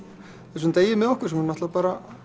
þessum degi með okkur sem er náttúrulega